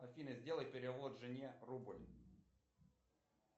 афина сделай перевод жене рубль